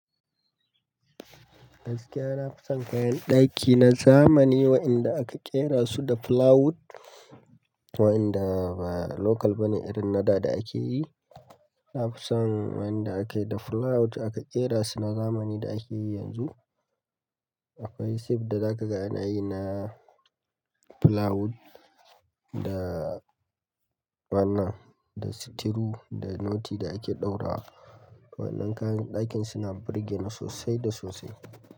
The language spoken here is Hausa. Gaskiya na fi son kayan ɗaki na zamani wa'inda aka ƙera su da plywood, wa'inda ba local bane irin na da ɗa ake yi. Na fi son waɗanda aka yi da plywood aka ƙera su na zamani da ake yi yanzu. Akwai sif da za ka ga ana yi na plywood da bana, da sitiru, da noti da ake ɗaurawa. Wannan kayan ɗakin suna birgene sosai da sosai.